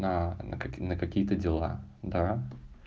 на какие-то дела да